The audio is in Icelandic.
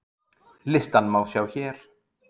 Listann má sjá hér